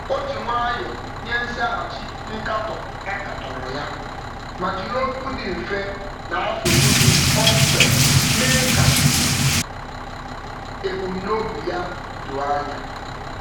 O ji nwayọ nye nzaghachi nkatọ a katọrọ ya ma jiri okwu dị mfe na asụsụ dị kpọmkwem mee ka ebumnobi ya doo anya.